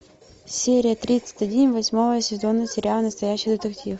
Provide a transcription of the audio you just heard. серия тридцать один восьмого сезона сериала настоящий детектив